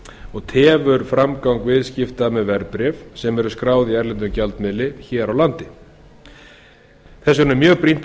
og tefur framgang viðskipta með verðbréf sem skráð eru í erlendum gjaldmiðli hér á landi þess vegna er mjög brýnt er að